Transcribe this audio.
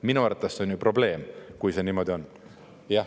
Minu arvates on probleem, kui see niimoodi on.